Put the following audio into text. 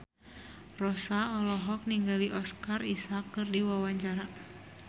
Rossa olohok ningali Oscar Isaac keur diwawancara